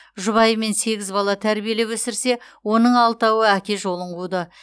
жұбайымен сегіз бала тәрбиелеп өсірсе оның алтауы әке жолын қуды